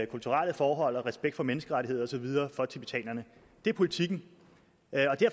kulturelle forhold respekt for menneskerettigheder og så videre for tibetanerne det er politikken